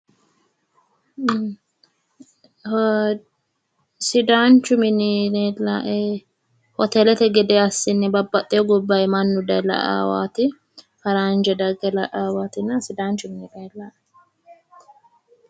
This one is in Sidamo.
Sidaanchu mini leelaa"e hoteelete gede assine babbaxxewo gobbanni mannu daaye la"aawati faranje dage laaawati sidaanchu mini leelaa'e.